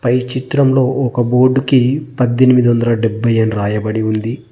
పై చిత్రంలో ఒక బోర్డు కి పద్దెనిమిదొందల డెబ్బై రాయబడి ఉంది.